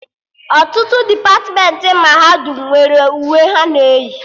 Ọtụtụ depatmentị mahadum nwere uwe ha na eyi